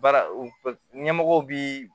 Baara ɲɛmɔgɔw bi